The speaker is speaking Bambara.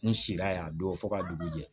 N sira yan don fo ka dugu jɛ